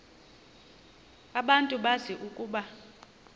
abantu bazi ukuba